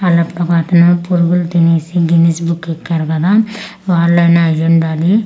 అలా అప్పుడు ఒక అతను పురుగులు తినేసి గినీస్ బుక్ ఎక్కడు కదా వలైన అయిఉండాలి ఆ.